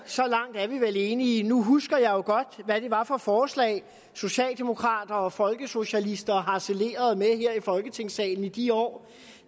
så langt er vi vel enige men nu husker jeg jo godt hvad det var for forslag socialdemokrater og folkesocialister harcelerede med her i folketingssalen i de år